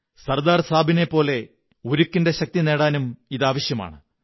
സര്ദാ്ർ സാബിനെപ്പോലെ ഉരുക്കിന്റെ ശക്തി നേടാനും ഇതാവശ്യമാണ്